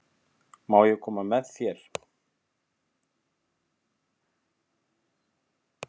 Má ég koma með þér?